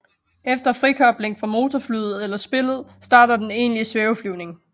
Efter frikobling fra motorflyet eller spillet starter den egentlige svæveflyvning